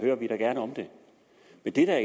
det der